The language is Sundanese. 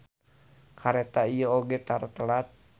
Kareta ieu oge tara telat.